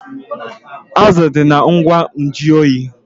Azụ dị na ngwa nju oyi